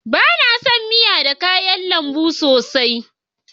Ba na son miya da kayan lambu sosai